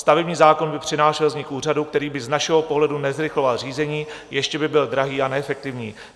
"Stavební zákon by přinášel vznik úřadu, který by z našeho pohledu nezrychloval řízení, ještě by byl drahý a neefektivní.